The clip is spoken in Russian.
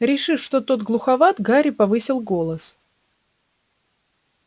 решив что тот глуховат гарри повысил голос